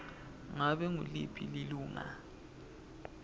ngabe nguliphi lilunga